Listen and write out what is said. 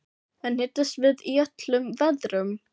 En hittist þið í öllum veðrum?